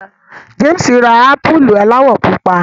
James ma rà ámpùlù aláwọ̀ pupa.